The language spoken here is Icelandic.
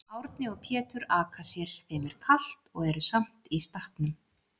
Árni og Pétur aka sér, þeim er kalt og eru samt í stakknum.